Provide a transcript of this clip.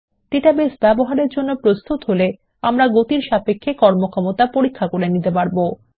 database ব্যবহারের জন্য প্রস্তুত হলে আমরা গতির সাপেক্ষে কর্মক্ষমতা পরীক্ষা করতে পারি